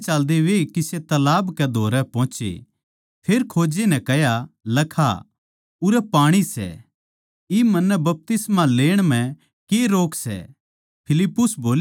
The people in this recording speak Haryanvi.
राह म्ह चाल्देचाल्दे वे किसे तालाब कै धोरै पोहोचे फेर खोजे नै कह्या लखा उरै पाणी सै इब मन्नै बपतिस्मा लेण म्ह के रोक सै